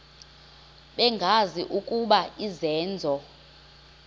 bengazi ukuba izenzo